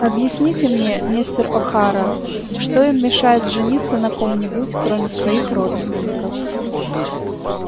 объясните мне мистер охара что им мешает жениться на ком-нибудь кроме своих родственников